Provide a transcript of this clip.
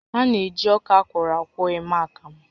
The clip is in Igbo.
A na-eji ọka akwọrọ akwọ eme akamụ